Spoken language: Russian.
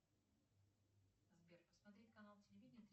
сбер посмотреть канал телевидение